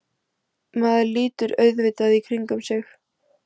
Maður lítur auðvitað í kringum sig.